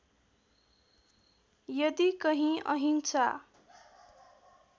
यदि कहीँ अहिंसा